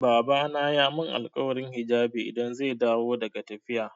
Babana ya mun alkawarin hijabi idan zai dawo daga tafiya.